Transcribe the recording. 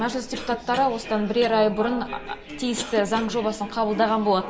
мәжіліс депутаттары осыдан бірер ай бұрын тиісті заң жобасын қабылдаған болатын